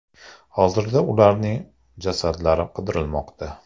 Hozirda ularning jasadlari qidirilmoqda.